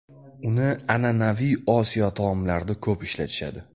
Uni an’anaviy Osiyo taomlarida ko‘p ishlatishadi.